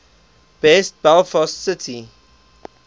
best belfast city